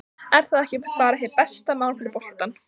Er það ekki bara hið besta mál fyrir boltann?